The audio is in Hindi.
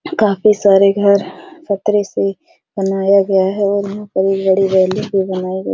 काफी सारे घर चदरे से बनाया गया है और यहां पर एक बड़ी बिल्डिंग भी बनाई गई --